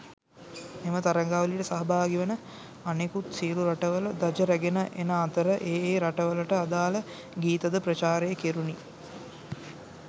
මෙම තරගාවලියට සහභාගිවන අනෙකුත් සියලු රටවල ධජ රැගෙන එන අතර ඒ ඒ රටවල්වලට අදාල ගීත ද ප්‍රචාරය කෙරුණි.